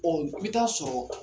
Ɔ i bi taa sɔrɔ